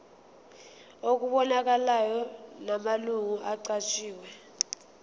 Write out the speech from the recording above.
okubonakalayo namalungu aqanjiwe